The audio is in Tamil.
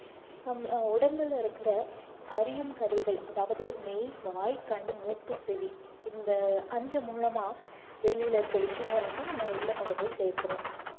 நம்ம உடம்புல இருக்கிற அறியும் கருவிகள் அதாவது மெய், வாய், கண், மூக்கு, செவி இந்த அஞ்சு மூலமா வெளியில இருக்க விஷயங்களை வந்து நம்ம உள்ள கொண்டு போய் சேர்க்கிறோம்